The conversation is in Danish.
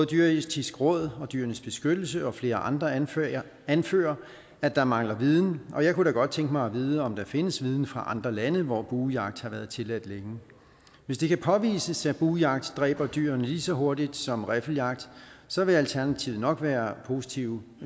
dyreetiske råd og dyrenes beskyttelse og flere andre anfører anfører at der mangler viden og jeg kunne da godt tænke mig at vide om der findes viden fra andre lande hvor buejagt har været tilladt længe hvis det kan påvises at buejagt dræber dyrene lige så hurtigt som riffeljagt så vil alternativet nok være positivt